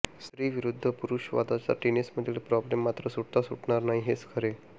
स्त्री विरुद्ध पुरुष वादाचा टेनिसमधील प्रॉब्लेम मात्र सुटता सुटणार नाही हेच खरे